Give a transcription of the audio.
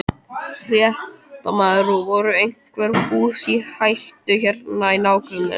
Fréttamaður: Voru einhver hús í hættu hérna í nágrenninu?